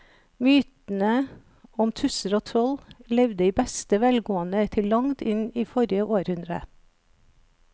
Mytene om tusser og troll levde i beste velgående til langt inn i forrige århundre.